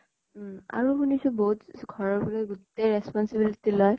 উম আৰু শুনিছো বহুত ইচ ঘৰত বুলে গোতেই responsibility লয়।